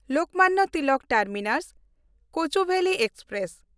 Lokmanya Tilak ᱴᱟᱨᱢᱤᱱᱟᱥ–ᱠᱚᱪᱩᱵᱮᱞᱤ express